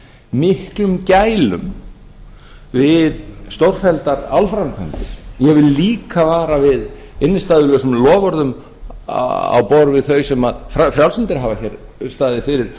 miklum gælum við stórfelldar álframkvæmdir ég vil líka vara við innstæðulausum loforðum á borð við þau sem frjálslyndir hafa hér staðið fyrir